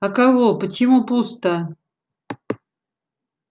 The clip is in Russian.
а кого почему пусто